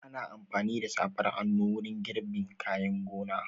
Ana amfani da safar hannu wurin girbin kayan gona.